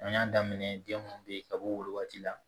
An y'a daminɛ den mun be yen ka bɔ wo waati la